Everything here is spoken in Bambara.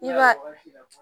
I b'a ye